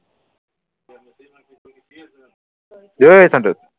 অই সন্তোষ